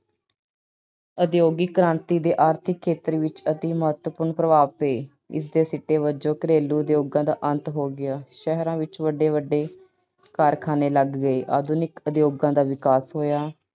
ਉਦਯੋਗਿਕ ਕ੍ਰਾਂਤੀ ਦੇ ਆਰਥਿਕ ਖੇਤਰ ਵਿੱਚ ਅਤਿ ਮਹਤਵਪੂਰਨ ਪ੍ਰਭਾਵ ਪਏ। ਇਸ ਦੇ ਸਿੱਟੇ ਵਜੋਂ ਘਰੇਲੂ ਉਦਯੋਗਾਂ ਦਾ ਅੰਤ ਹੋ ਗਿਆ। ਸ਼ਹਿਰਾਂ ਵਿੱਚ ਵੱਡੇ-ਵੱਡੇ ਕਾਰਖਾਨੇ ਲੱਗ ਗਏ। ਆਧੁਨਿਕ ਉਦਯੋਗਾਂ ਦਾ ਵਿਕਾਸ ਹੋਇਆ।